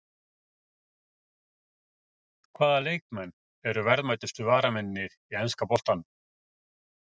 Hvaða leikmenn eru verðmætustu varamennirnir í enska boltanum?